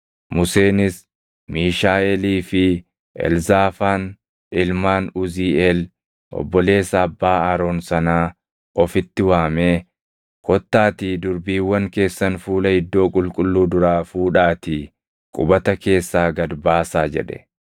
Museenis Miishaaʼeelii fi Elzaafaan ilmaan Uziiʼeel obboleessa abbaa Aroon sanaa ofitti waamee, “Kottaatii durbiiwwan keessan fuula iddoo qulqulluu duraa fuudhaatii qubata keessaa gad baasaa” jedhe.